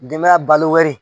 Denbaya balo